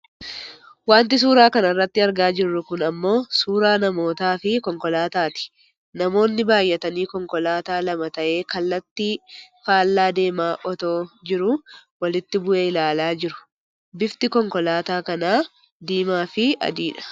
Wanti suuraa kanarratti argaa jirru kun ammoo suuraa namoota fi konkolaataa ti. Namoonni baayyatanii konkolaataa lama ta'ee kallattii fallacy deemaa otoo jiruu walitti bu'e ilaalaa jiru bifti konkolaataa kanaa diimaa fi adiidha.